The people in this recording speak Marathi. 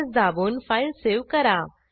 Ctrl स् दाबून फाईल सेव्ह करा